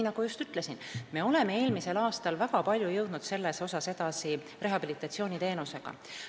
Nagu just ütlesin, me oleme eelmisel aastal väga palju jõudunud edasi rehabilitatsiooniteenusega.